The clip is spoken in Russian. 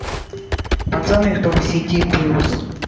пацаны кто в сети плюс